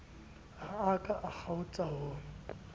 ha a ka kgaotsa ho